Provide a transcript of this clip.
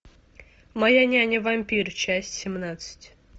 моя няня вампир часть семнадцать